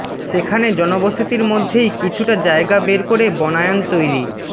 সেখানে জনবসতির মধ্যেই কিছুটা জায়গা বের করে বনায়ন তৈরি